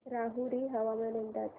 राहुरी हवामान अंदाज